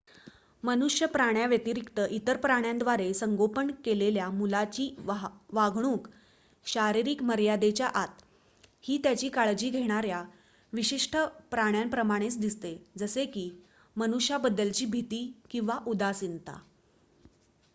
मनुष्यप्राण्या व्यतिरिक्त इतर प्राण्यांद्वारे संगोपन केलेल्या मुलाची वागणूक शारीरिक मर्यादेच्या आत ही त्याची काळजी घेणार्‍या विशिष्ट प्राण्याप्रमाणेच दिसते जसे की मनुष्यांबद्दलची भीती किंवा उदासीनता